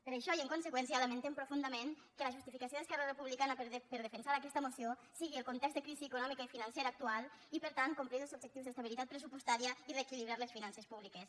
per això i en conseqüència lamentem profundament que la justificació d’esquerra republicana per defensar aquesta moció sigui el context de crisi econòmica i financera actual i per tant complir els objectius d’estabilitat pressupostària i reequilibrar les finances públiques